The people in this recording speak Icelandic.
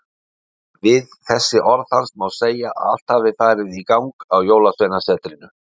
Við þessi orð hans má segja að allt hafi farið í gang á Jólasveinasetrinu.